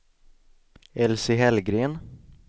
Elsie Hellgren